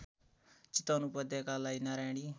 चितवन उपत्याकालाई नारायणी